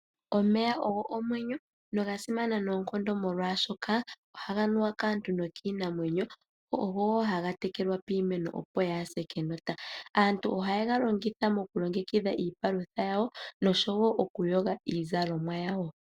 Omeya ogo omwenyo, noga simana noonkondo molwaashoka ohaga nuwa kaantu nokiinamwenyo. Ogo wo haga tekelwa piimeno opo yaa ha se kenota. Aantu ohaye ga longitha mokulongekidha iipalutha yawo, nosho wo okuyoga iizalomwa yawo.